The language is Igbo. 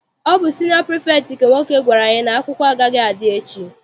Ọ bụ siniọ pirifektị nke nwoke gwara anyị n'akwụkwọ agaghị adị echi.